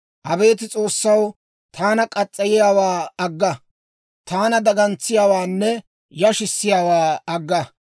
Abeet S'oossaw, taana muriyaawaa agga; taana dagantsiyaawaanne yashissiyaawaa agga.